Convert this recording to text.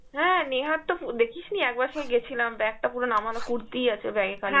হ্যাঁ নেহার তো ও দেখিস নি একবার সেই গেছিলাম bag টা পুরো নামানো কুর্তি আছে bag এ খালি